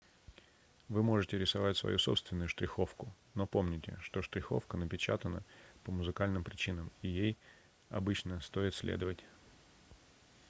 вы можете рисовать свою собственную штриховку но помните что штриховка напечатана по музыкальным причинам и ей обычно стоит следовать